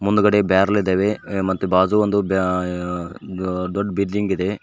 ಮುಂದ್ಗಡೆ ಬ್ಯಾರೆಲ್ ಇದಾವೆ ಮತ್ತ್ ಬಾಜು ಒಂದು ಬ್ಯಾ ಆ ದೊಡ್ಡ್ ಬಿಲ್ಡಿಂಗ್ ಇದೆ.